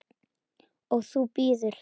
Sólveig: Og þú bíður?